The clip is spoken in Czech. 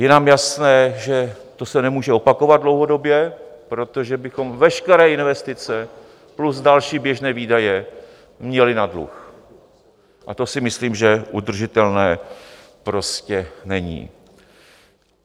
Je nám jasné, že to se nemůže opakovat dlouhodobě, protože bychom veškeré investice plus další běžné výdaje měli na dluh a to si myslím, že udržitelné prostě není.